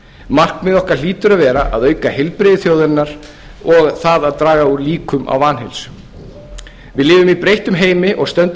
markmið okkar hlýtur að vera að auka heilbrigði þjóðarinnar og það að draga úr líkum á vanheilsu við lifum í breyttum heimi og stöndum